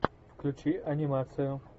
включи анимацию